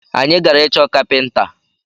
Anyi gara ịchọ kapinta